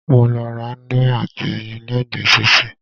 Mo lọ ra íńdómì àti ẹyin lẹ́gbẹ̀ẹ́ títì.